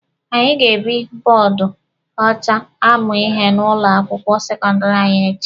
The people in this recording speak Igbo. Anyị ga-eji bọọdụ ọcha amụ ihe n'ụlọ akwụkwọ sekọndịrị anyị echi.